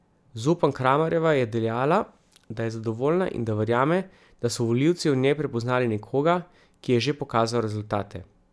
Zupan Kramarjeva je dejala, da je zadovoljna in da verjame, da so volivci v njej prepoznali nekoga, ki je že pokazal rezultate.